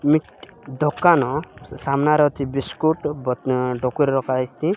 Meat ଦୋକାନ ସାମ୍ନାରେ ଅଛି ବିସ୍କୁଟ ଡକୁ ରେ ରଖାହେଇଛି।